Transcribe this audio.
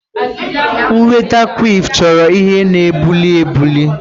Ị nweta kwiff chọrọ ihe na-ebuli ebuli.